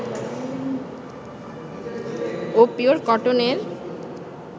ও pure কটনের